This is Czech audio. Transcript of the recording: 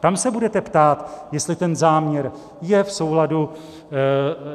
Tam se budete ptát, jestli ten záměr je v souladu